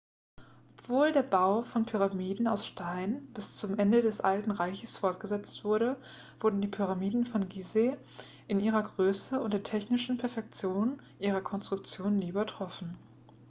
obwohl der bau von pyramiden aus stein bis zum ende des alten reiches fortgesetzt wurde wurden die pyramiden von gizeh in ihrer größe und der technischen perfektion ihrer konstruktion nie übertroffen